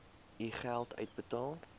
u geld uitbetaal